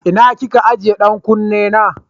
Ina ki ke ajiye ɗan kunne na?